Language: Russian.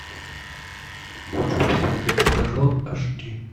хочу посмотреть стажер аш ди